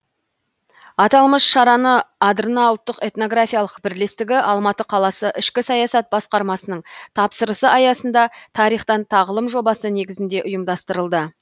аталмыш шараны адырна ұлттық этнографиялық бірлестігі алматы қаласы ішкі саясат басқармасының тапсырысы аясында тарихтан тағылым жобасы негізінде ұйымдастырылды